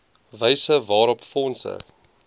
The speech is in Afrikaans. wyse waarop fondse